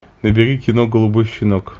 набери кино голубой щенок